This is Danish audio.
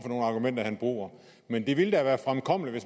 nogle argumenter han bruger men det ville da være fremkommeligt at